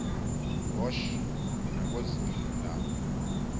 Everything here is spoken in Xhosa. bosch nakwezinye iindawo